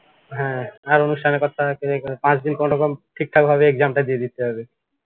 হ্যা আর অনুষ্ঠানের কথা কয়ে কোনো কাজ নেই কোনোরকম ঠিকঠাক ভাবে exam টা দিয়ে দিতে হবে